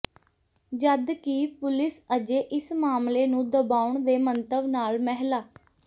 ਜਦਕਿ ਪੁਲਿਸ ਅਜੇ ਇਸ ਮਾਮਲੇ ਨੂੰ ਦਬਾਉਣ ਦੇ ਮੰਤਵ ਨਾਲ ਮਹਿਲਾ